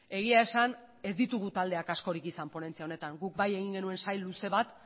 egia esan ez ditugu taldeak askorik izan ponentzia honetan guk bai egin genuen sail luze bat